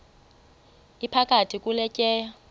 iphakathi kule tyeya